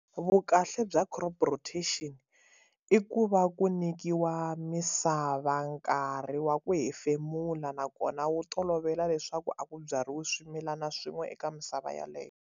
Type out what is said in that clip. Vukahle bya crop rotation i ku va ku nyikiwa misava nkarhi wa ku hefemula nakona wu tolovela leswaku a ku byariwi swimilana swin'we eka misava yaleyo.